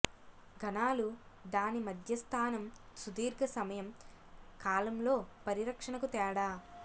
ఘనాలు దాని మధ్య స్థానం సుదీర్ఘ సమయం కాలంలో పరిరక్షణకు తేడా